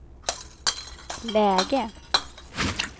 läge